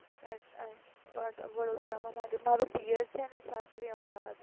અચ્છા વડોદરામાં મારું પિયર અને સાસરી અમદાવાદ